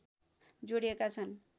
जोडिएका छन्